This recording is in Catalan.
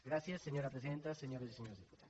gràcies senyora presidenta senyores i senyors diputats